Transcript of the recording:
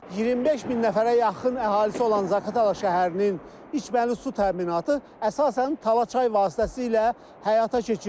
25 min nəfərə yaxın əhalisi olan Zaqatala şəhərinin içməli su təminatı əsasən Talaçay vasitəsilə həyata keçirilib.